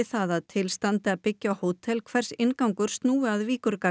það að til standi að byggja hótel hvers inngangur snúi að